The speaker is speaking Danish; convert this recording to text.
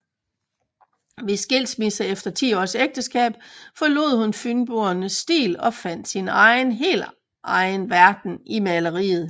Ved skilsmissen efter 10 års ægteskab forlod hun fynboernes stil og fandt sin helt egen verden i maleriet